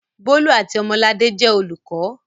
Bólú àti Ọmọladé jẹ́ olùkọ́.